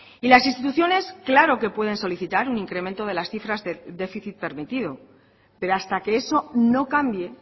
y las instituciones claro que pueden solicitar un incremento de las cifras de déficit permitido pero hasta que eso no cambie